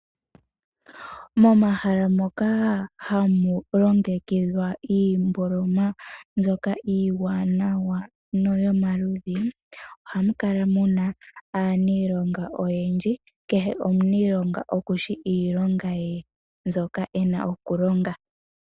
Momahala moka hamu longekidhwa iimboloma mbyoka iiwanawa ano yomaludhi ohamu kala mu na aaniilonga oyendji, kehe omuniilonga okushi iilonga ye mbyoka e na okulonga.